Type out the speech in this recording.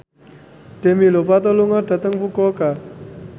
Demi Lovato lunga dhateng Fukuoka